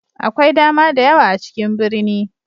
Akwai dama da yawa a cikin birni.